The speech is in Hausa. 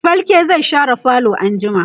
falke zai share falo anjima